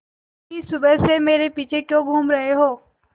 बिन्नी सुबह से मेरे पीछे क्यों घूम रहे हो